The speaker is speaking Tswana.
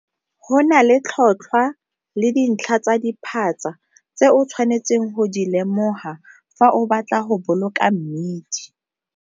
Go na le tlhotlhwa le dintlha tsa diphatsa tse o sthwanetseng go di lemoga fa o batla go boloka mmidi.